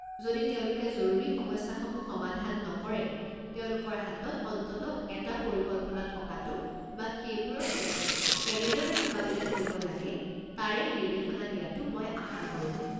যদি তেওঁলোকে জৰুৰী সমস্যাসমূহ সমাধান নকৰে, তেওঁলোকৰ হাতত অন্ততঃ এটা পৰিকল্পনা থকাটো বা সেইবোৰৰ সৈতে কেনেদৰে মোকাবিলা কৰিব লাগে তাৰে নিৰ্দেশনা দিয়াটো মই আশা কৰোঁ।